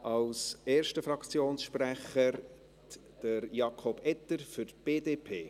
Als erster Fraktionssprecher spricht Jakob Etter, BDP.